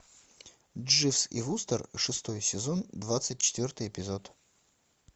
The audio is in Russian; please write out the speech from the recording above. дживс и вустер шестой сезон двадцать четвертый эпизод